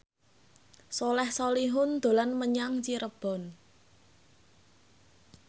Soleh Solihun dolan menyang Cirebon